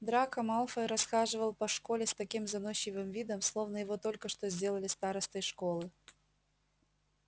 драко малфой расхаживал по школе с таким заносчивым видом словно его только что сделали старостой школы